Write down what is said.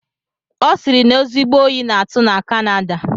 Ọ sịrị na ezigbo oyi na-atụ na kanada